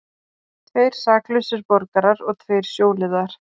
Tveir saklausir borgarar og tveir sjóliðar